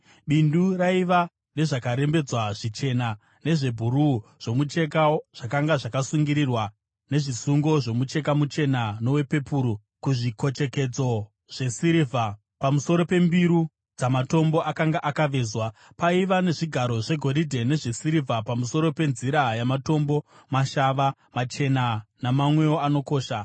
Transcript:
Bindu raiva nezvakarembedzwa zvichena nezvebhuruu zvomucheka, zvakanga zvakasungirirwa nezvisungo zvomucheka muchena nowepepuru, kuzvikochekedzo zvesirivha pamusoro pembiru dzamatombo akanga akavezwa. Paiva nezvigaro zvegoridhe nezvesirivha pamusoro penzira yamatombo mashava, machena namamwewo anokosha.